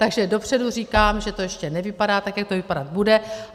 Takže dopředu říkám, že to ještě nevypadá tak, jak to vypadat bude.